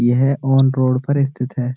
यह on road पर स्थित है।